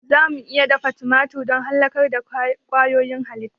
Za mu iya dafa tumatir don halakar da ƙwayoyin halitta.